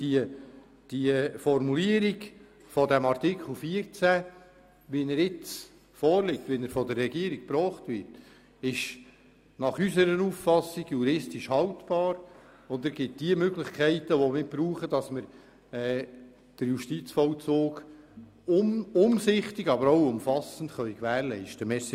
Denn die Formulierung von Artikel 14, wie er von der Regierung eingebracht wurde und jetzt vorliegt, ist nach unserer Auffassung juristisch haltbar, und er schafft die Möglichkeiten, die wir brauchen, damit wir den Justizvollzug umsichtig aber auch umfassend gewährleisten können.